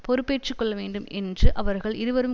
பொறுப்பேற்றுக்கொள்ள வேண்டும் என்று அவர்கள் இருவரும்